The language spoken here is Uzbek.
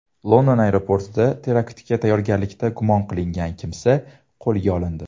London aeroportida teraktga tayyorgarlikda gumon qilingan kimsa qo‘lga olindi.